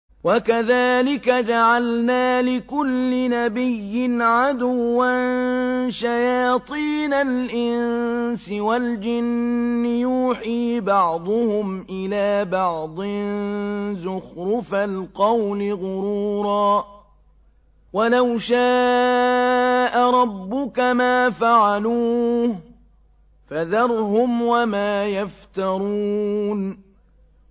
وَكَذَٰلِكَ جَعَلْنَا لِكُلِّ نَبِيٍّ عَدُوًّا شَيَاطِينَ الْإِنسِ وَالْجِنِّ يُوحِي بَعْضُهُمْ إِلَىٰ بَعْضٍ زُخْرُفَ الْقَوْلِ غُرُورًا ۚ وَلَوْ شَاءَ رَبُّكَ مَا فَعَلُوهُ ۖ فَذَرْهُمْ وَمَا يَفْتَرُونَ